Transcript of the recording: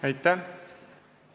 Aitäh!